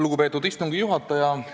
Lugupeetud istungi juhataja!